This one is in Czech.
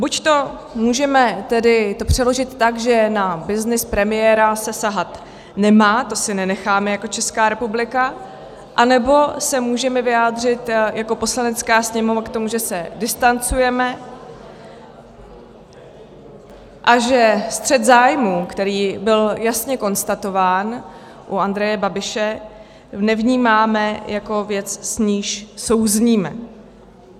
Buď to můžeme tedy přeložit tak, že na byznys premiéra se sahat nemá, to si nenecháme jako Česká republika, anebo se můžeme vyjádřit jako Poslanecká sněmovna k tomu, že se distancujeme a že střet zájmů, který byl jasně konstatován u Andreje Babiše, nevnímáme jako věc, s níž souzníme.